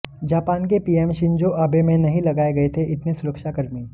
Japan के PM Shinzo Abe में नहीं लगाये गये थे इतने सुरक्षाकर्मी